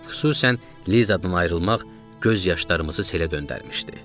Xüsusən Lizadan ayrılmaq göz yaşlarımızı selə döndərmişdi.